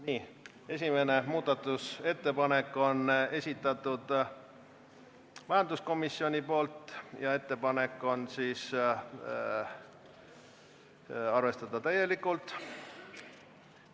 Nii, esimese muudatusettepaneku on esitanud majanduskomisjon ja ettepanek on arvestada täielikult.